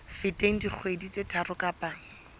feteng dikgwedi tse tharo kapa